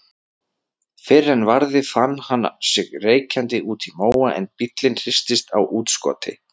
Fyrr en varði fann hann sig reykjandi úti í móa en bíllinn hristist á útskoti.